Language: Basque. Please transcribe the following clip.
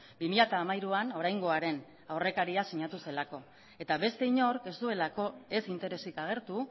bi mila hamairuan oraingoaren aurrekaria sinatu zelako eta beste inork ez duelako ez interesik agertu